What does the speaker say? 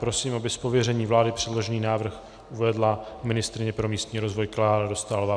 Prosím, aby z pověření vlády předložený návrh uvedla ministryně pro místní rozvoj Klára Dostálová.